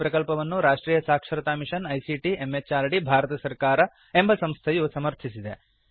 ಈ ಪ್ರಕಲ್ಪವನ್ನು ರಾಷ್ಟ್ರಿಯ ಸಾಕ್ಷರತಾ ಮಿಷನ್ ಐಸಿಟಿ ಎಂಎಚಆರ್ಡಿ ಭಾರತ ಸರ್ಕಾರ ಎಂಬ ಸಂಸ್ಥೆಯು ಸಮರ್ಥಿಸಿದೆ